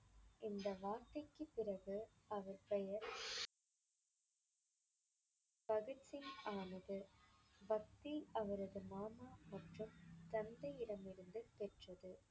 இந்த வார்த்தைக்குப் பிறகு அவர் பெயர் பகத்சிங் ஆனது. பக்தி அவரது மாமா மற்றும் தந்தையிடமிருந்து பெற்றது.